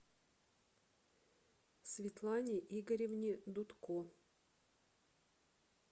светлане игоревне дудко